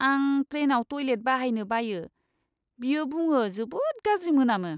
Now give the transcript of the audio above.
आं ट्रेनआव टयलेट बाहायनो बायो, बियो बुङो, "जोबोद गाज्रि मोनामो!"